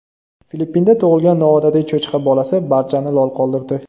Filippinda tug‘ilgan noodatiy cho‘chqa bolasi barchani lol qoldirdi .